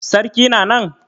Sarki na nan?